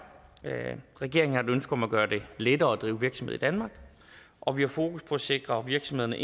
regeringen har et ønske om at gøre det lettere at drive virksomhed i danmark og vi har fokus på at sikre virksomhederne